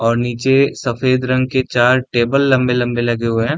और नीचे सफेद रंग के चार टेबल लंबे-लंबे लगे हुए हैं।